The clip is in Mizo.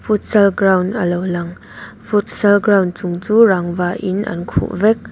futsal ground alo lang futsal ground chung chu rangva in an khuh vek.